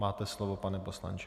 Máte slovo, pane poslanče.